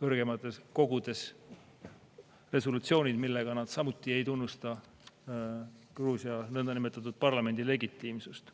kõrgemates kogudes resolutsioonid, millega nad samuti ei tunnusta Gruusia nõndanimetatud parlamendi legitiimsust.